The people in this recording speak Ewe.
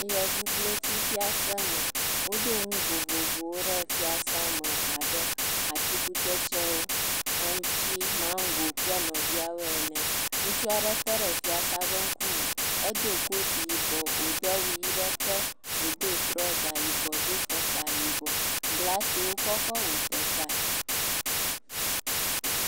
Yevublotsi fiaseme. Woɖo nu vovovowo ɖe fiasea me abe atikutsetsewo, aŋtsi, maŋgo kple nɔviawo ene. Ŋutsu aɖe tɔ ɖe fiase ƒe ŋkume. Edo koti yibɔ wòdo awu ʋi ɖe te. Wòdo trɔza yibɔ do fɔkpa yibɔ. Glasi wokɔ kɔ wɔ teƒeae.